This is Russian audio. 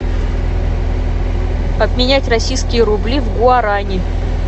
обменять российские рубли в гуарани